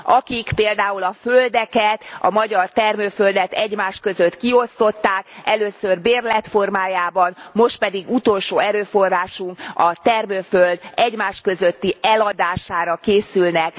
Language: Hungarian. akik például a földeket, a magyar termőföldet egymás között kiosztották először bérlet formájában, most pedig utolsó erőforrásunk, a termőföld egymás közötti eladására készülnek.